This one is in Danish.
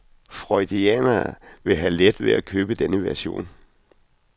Freudianere vil have let ved at købe den version.